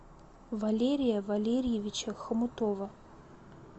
валерия валерьевича хомутова